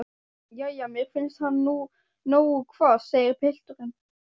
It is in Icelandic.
Jæja, mér finnst hann nú nógu hvass, segir pilturinn.